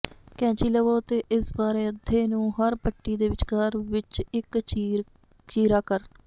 ਕੈਚੀ ਲਵੋ ਅਤੇ ਇਸ ਬਾਰੇ ਅੱਧੇ ਨੂੰ ਹਰ ਪੱਟੀ ਦੇ ਵਿੱਚਕਾਰ ਵਿੱਚ ਇੱਕ ਚੀਰਾ ਕਰ